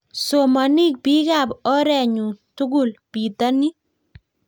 Somonik biikab orenyu tugul bitonin.